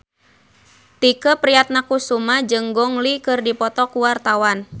Tike Priatnakusuma jeung Gong Li keur dipoto ku wartawan